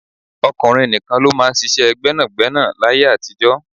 Ọkùnrin nìkan ló máa ń ṣíṣe gbẹ́nàgbẹ́nà láyé àtijó.